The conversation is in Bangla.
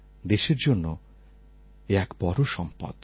দেশের জন্য এ এক বড় সম্পদ